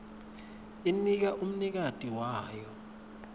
inika umnikati wayo